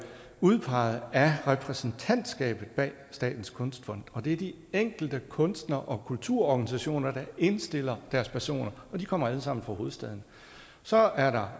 udpeget af repræsentantskabet bag statens kunstfond og det er de enkelte kunstnere og kulturorganisationer der indstiller deres personer og de kommer alle sammen fra hovedstaden så er der